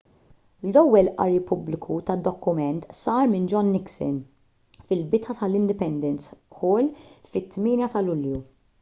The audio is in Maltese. l-ewwel qari pubbliku tad-dokument sar minn john nixon fil-bitħa tal-independence hall fit-8 ta' lulju